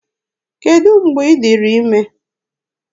Kedụ mgbe ị dịrị ime?